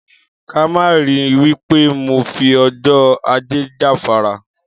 Ká má ri wí pé mo fi o̩jó̩ Ajé jáfara